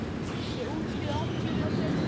Ég útskýri allt fyrir þér seinna.